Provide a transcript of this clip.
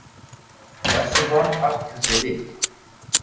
Hversu varð Arnkatli við?